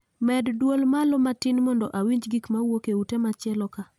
Med dwol malo matin mondo awinj gik mawuok e ute machieloka